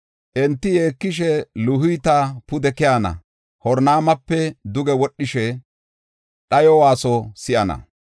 Enti yeekishe, Luhita pude keyana; Horonaymape duge wodhishe, dhayo waasuwa si7ana.